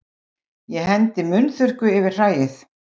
Ég hendi munnþurrku yfir hræið.